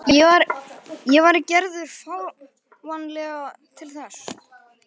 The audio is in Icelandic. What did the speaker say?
Og væri Gerður fáanleg til þess?